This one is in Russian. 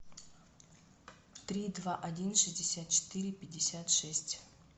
три два один шестьдесят четыре пятьдесят шесть